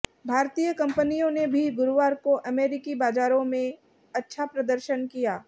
भारतीय कंपनियों ने भी गुरुवार को अमेरिकी बाजारों में अच्छा प्रदर्शन किया